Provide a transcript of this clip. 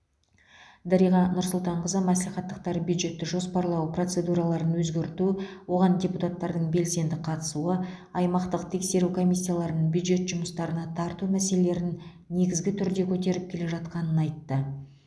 дариға нұрсұлтанқызы мәслихаттықтар бюджетті жоспарлау процедураларын өзгерту оған депутаттардың белсенді қатысуы аймақтық тексеру комиссияларын бюджет жұмысына тарту мәселелерін негізді түрде көтеріп келе жатқанын айтты